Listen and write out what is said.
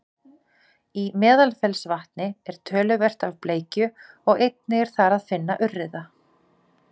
í meðalfellsvatni er töluvert af bleikju og einnig er þar að finna urriða